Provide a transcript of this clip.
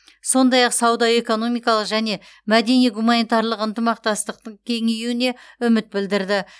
сондай ақ сауда экономикалық және мәдени гуманитарлық ынтымақтастықтың кеңеюіне үміт білдірді